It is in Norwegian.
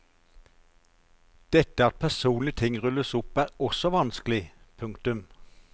Dette at personlige ting rulles opp er også vanskelig. punktum